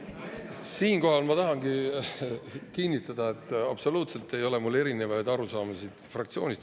Siinkohal ma tahangi kinnitada, et absoluutselt ei ole mul fraktsioonist erinevaid arusaamasid.